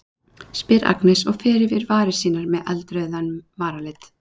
spyr Agnes og fer yfir varir sínar með með eldrauðum varalit.